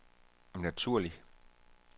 naturlig